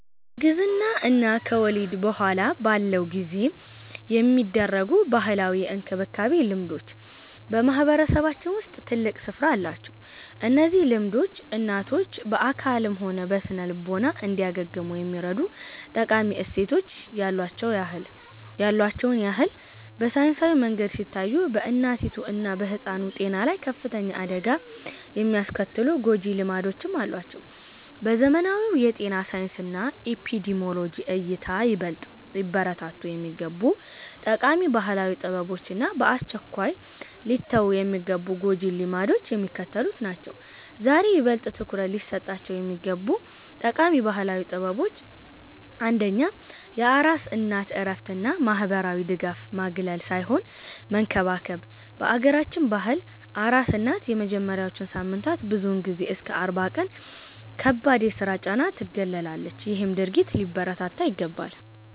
በእርግዝና እና ከወሊድ በኋላ ባለው ጊዜ የሚደረጉ ባህላዊ የእንክብካቤ ልምዶች በማህበረሰባችን ውስጥ ትልቅ ስፍራ አላቸው። እነዚህ ልምዶች እናቶች በአካልም ሆነ በስነ-ልቦና እንዲያገግሙ የሚረዱ ጠቃሚ እሴቶች ያሉዋቸውን ያህል፣ በሳይንሳዊ መንገድ ሲታዩ በእናቲቱ እና በሕፃኑ ጤና ላይ ከፍተኛ አደጋ የሚያስከትሉ ጎጂ ልማዶችም አሏቸው። በዘመናዊው የጤና ሳይንስና ኤፒዲሚዮሎጂ እይታ፣ ይበልጥ ሊበረታቱ የሚገቡ ጠቃሚ ባህላዊ ጥበቦች እና በአስቸኳይ ሊተዉ የሚገቡ ጎጂ ልማዶች የሚከተሉት ናቸው፦. ዛሬ ይበልጥ ትኩረት ሊሰጣቸው የሚገቡ ጠቃሚ ባህላዊ ጥበቦች አንደኛ የአራስ እናት እረፍት እና ማህበራዊ ድጋፍ ማግለል ሳይሆን መንከባከብ፦ በአገራችን ባህል አራስ እናት የመጀመሪያዎቹን ሳምንታት ብዙውን ጊዜ እስከ 40 ቀን ከከባድ የስራ ጫና ትገለላለች ይሄም ድርጊት ሊበረታታ ይገባል።